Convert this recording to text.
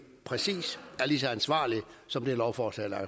præcis lige så ansvarligt som det lovforslag der